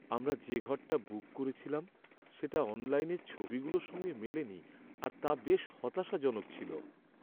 আমরা যে ঘরটা বুক করেছিলাম সেটা অনলাইনের ছবিগুলোর সঙ্গে মেলেনি আর তা বেশ হতাশাজনক ছিল।